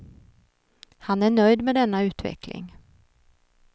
Han är nöjd med denna utveckling.